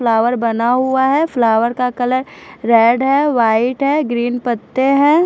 Flower बना हुआ है फ्लावर का कलर रेड है वाइट है ग्रीन पत्ते है।